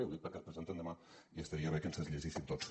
ho dic perquè es presenten demà i estaria bé que ens els llegíssim tots